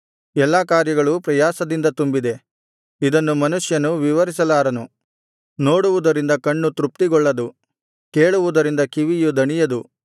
ಎಲ್ಲಾ ಕಾರ್ಯಗಳು ಪ್ರಯಾಸದಿಂದ ತುಂಬಿದೆ ಇದನ್ನು ಮನುಷ್ಯನು ವಿವರಿಸಲಾರನು ನೋಡುವುದರಿಂದ ಕಣ್ಣು ತೃಪ್ತಿಗೊಳ್ಳದು ಕೇಳುವುದರಿಂದ ಕಿವಿಯು ದಣಿಯದು